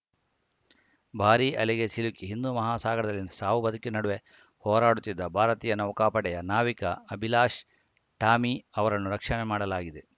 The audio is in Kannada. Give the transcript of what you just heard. ಭಾರೀ ಅಲೆಗೆ ಸಿಲುಕಿ ಹಿಂದೂ ಮಹಾಸಾಗರದಲ್ಲಿ ಸಾವುಬದುಕಿನ ನಡುವೆ ಹೋರಾಡುತ್ತಿದ್ದ ಭಾರತೀಯ ನೌಕಾಪಡೆಯ ನಾವಿಕ ಅಭಿಲಾಶ್‌ ಟಾಮಿ ಅವರನ್ನು ರಕ್ಷಣೆ ಮಾಡಲಾಗಿದೆ